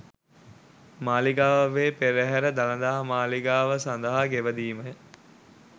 මාලිගාවේ පෙරහර දළදා මාලිගාව සඳහා ගෙවැදීමය.